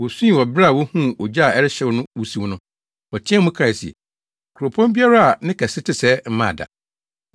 Wosui wɔ bere a wohuu ogya a ɛrehyew no wusiw no, wɔteɛɛ mu kae se ‘Kuropɔn biara a ne kɛse te sɛɛ mmaa da.’ ”